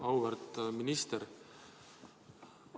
Auväärt minister!